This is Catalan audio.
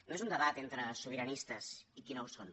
no és un debat entre sobiranistes i els qui no ho són